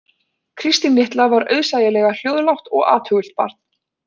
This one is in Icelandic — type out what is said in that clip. Kristín litla var auðsæilega hljóðlátt og athugult barn